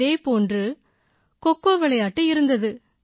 இதே போன்று கோகோ கோகோ விளையாட்டு இருந்தது